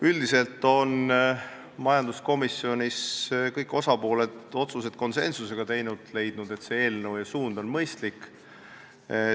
Üldiselt on majanduskomisjonis kõik osapooled teinud otsused konsensusega ning leidnud, et see eelnõu ja suund on mõistlik.